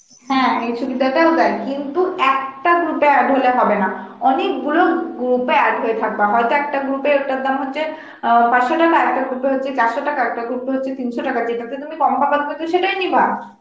হ্যাঁ এই সুবিধাটাও দেয়, কিন্তু একটা group এ add হলে হবে না, অনেক গুলো group এ add হয়ে থাকবা, হয়ত একটা group এ ওটার দাম হচ্ছে অ্যাঁ পাঁচশো টাকা, একটা group এ হচ্ছে চারশো টাকা, একটা group এ হচ্ছে তিনশো টাকা, যেটাতে তুমি কম পাবা তুমি তো সেটাই নিবা